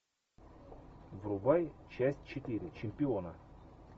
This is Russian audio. врубай часть четыре чемпиона